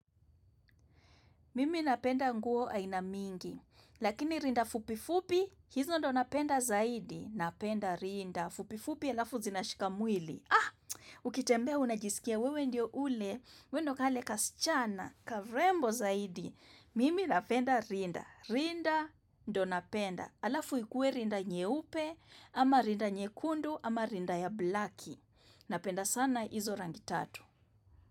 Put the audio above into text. Mimi napenda nguo aina mingi, lakini rinda fupi fupi, hizo ndio napenda zaidi, napenda rinda, fupi fupi halafu zinashika mwili. Ah, ukitembea unajisikia wewe ndio ule, wewe ndio kale kasichana, karembo zaidi, mimi napenda rinda, rinda ndio napenda. Halafu ikue rinda nyeupe, ama rinda nyekundu, ama rinda ya blaki, napenda sana hizo rangi tatu.